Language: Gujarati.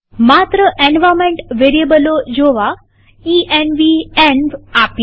માત્ર એન્વાર્નમેન્ટ વેરીએબલો જોવા આદેશ ઇએનવી આપીએ